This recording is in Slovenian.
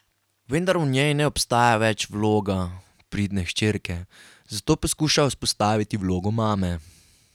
Vendar v njej ne obstaja več vloga pridne hčerke, zato poskuša vzpostaviti vlogo mame.